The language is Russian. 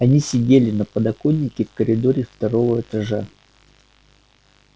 они сидели на подоконнике в коридоре второго этажа